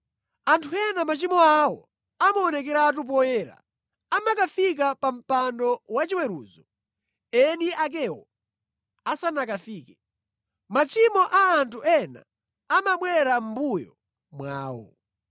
Anthu ena machimo awo amaonekeratu poyera, amakafika pa mpando wachiweruzo eni akewo asanakafike. Machimo a anthu ena amabwera mʼmbuyo mwawo.